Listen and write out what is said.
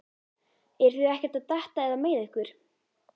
Eruð þið ekkert að detta eða meiða ykkur?